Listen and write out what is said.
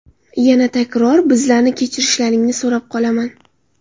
Yana takror bizlarni kechirishlaringni so‘rab qolaman.